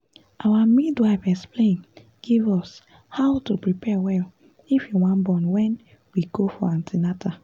our midwife explain give us how to prepare well if you wan born wen we go for an ten atal